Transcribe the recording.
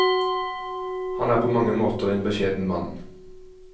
Han er på mange måter en beskjeden mann.